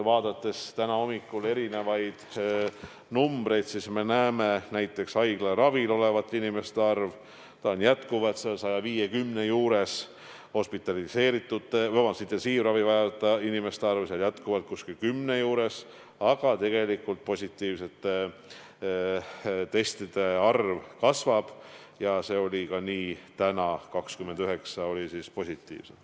Vaadates tänahommikusi numbreid, me näeme, et näiteks haiglaravil olevate inimeste arv on endiselt 150 juures, intensiivravi vajavate inimeste arv jätkuvalt 10 juures ja tegelikult positiivsete testide arv kasvab, nii oli see ka täna – 29 positiivset.